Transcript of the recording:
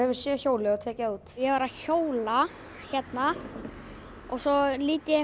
séð hjólið og tekið það út ég var að hjóla hérna svo lít ég